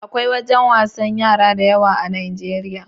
Akwai wajan wasan yara da yawa a Nijeriya